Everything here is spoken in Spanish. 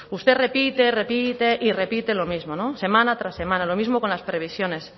usted repite repite y repite lo mismo no semana tras semana lo mismo con las previsiones